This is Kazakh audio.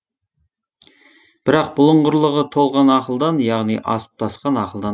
бірақ бұлыңғырлығы толған ақылдан яғни асып тасқан ақылдан